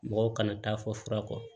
Mɔgɔw kana taa fɔ fura kɔ